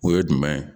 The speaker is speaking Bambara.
O ye jumɛn ye